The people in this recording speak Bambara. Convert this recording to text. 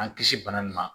An kisi bana nin ma